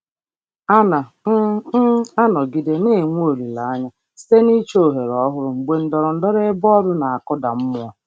Ana um m anọgide na-enwe olileanya site n'ịchọ ohere ọhụrụ mgbe ndọrọndọrọ ebe ọrụ na-akụda mmụọ.